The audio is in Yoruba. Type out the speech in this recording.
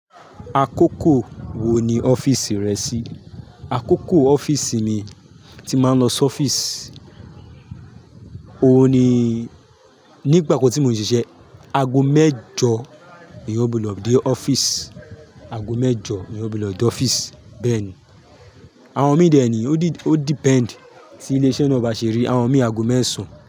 Àkókò wò ní ọ́fíìsì rẹ ṣí? Àkókò ọ́fíìsì mi tí mà ń lọ sí ọ́fíìsì, òun ni nígbà kan tí mo ṣiṣẹ́ ago mẹ́jọ èyàn gbúdọ̀ dé ọ́fíìsì, ago mẹ́jọ ni èyàn gbuso dé ọ́fíìsì bẹ́ẹ̀ ni. Àwọn mi deni o depend, tí ilese na bá ṣe rí, àwọn mi ago mẹ́sàn.